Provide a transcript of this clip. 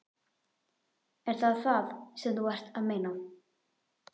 Er það það sem þú ert að meina?